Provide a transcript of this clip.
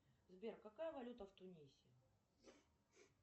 сбер какая валюта в тунисе